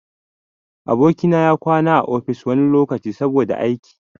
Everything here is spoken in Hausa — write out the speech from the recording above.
Aboki na ya na kwana a ofis wani lokaci, saboda aiki.